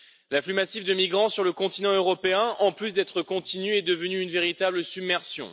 L'afflux massif de migrants sur le continent européen, en plus d'être continu, est devenu une véritable submersion.